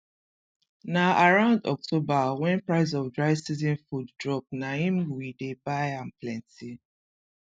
na around october wen price of dry season food drop na im we dey buy am plenty